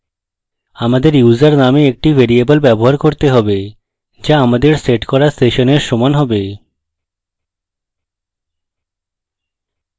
আমাদের user নামে একটি ভ্যারিয়েবল ব্যবহার করতে হবে যা আমাদের set করা সেশনের সমান হবে